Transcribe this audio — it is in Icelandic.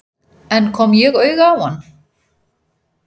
En kom ég auga á hann?